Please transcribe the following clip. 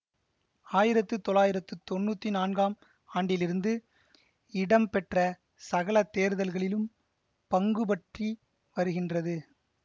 ஆயிரத்து தொள்ளாயிரத்து தொன்னூத்தி நான்காம் ஆண்டிலிருந்து இடம் பெற்ற சகல தேர்தல்களிலும் பங்குபற்றி வருகின்றது